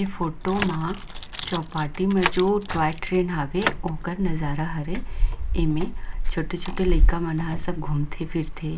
ये फोटो मा जो चौपाटी में जो टॉय ट्रेन हवे ओकर नजारा हरे एमे छोटे- छोटे लेका मन घूमते फिरते।